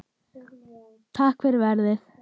Takk fyrir verið